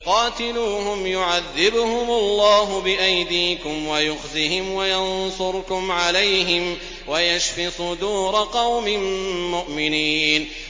قَاتِلُوهُمْ يُعَذِّبْهُمُ اللَّهُ بِأَيْدِيكُمْ وَيُخْزِهِمْ وَيَنصُرْكُمْ عَلَيْهِمْ وَيَشْفِ صُدُورَ قَوْمٍ مُّؤْمِنِينَ